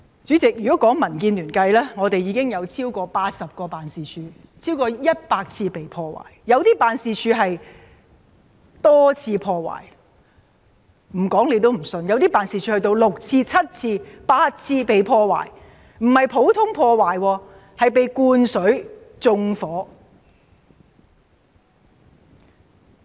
主席，如果單計民建聯，我們已經有超過80間辦事處，共超過100次被破壞，有些辦事處更被多次破壞，說出來大家也難以相信，有些辦事處便是被六、七、八次破壞的，而且更不是普通破壞，而是被灌水和縱火。